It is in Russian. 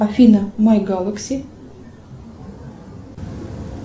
афина май галакси